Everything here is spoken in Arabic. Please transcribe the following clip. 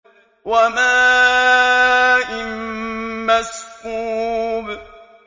وَمَاءٍ مَّسْكُوبٍ